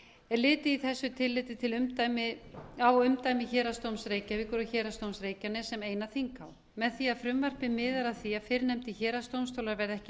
er litið í þessu tilliti á umdæmi héraðsdóms reykjavíkur og héraðsdóms reykjaness sem eina þinghá með því að frumvarpið miðar að því að fyrrnefndir héraðsdómstólar verði ekki